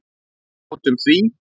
Við játtum því.